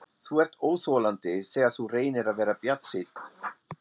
Þú ert óþolandi, þegar þú reynir að vera bjartsýnn.